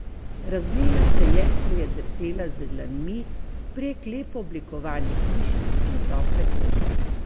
Razvnela se je, ko je drsela z dlanmi prek lepo oblikovanih mišic in tople kože.